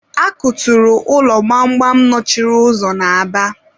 a kuturu ụlọ gbamgbam nọchiri ụzọ na Aba.